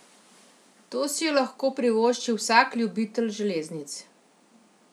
To si je lahko privoščil vsak ljubitelj železnic.